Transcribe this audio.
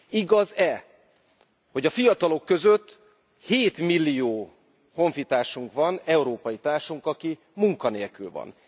Igaz e, hogy a fiatalok között 7 millió honfitársunk van, európai társunk, aki munka nélkül van?